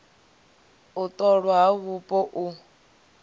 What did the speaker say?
u ṱolwa ha vhupo u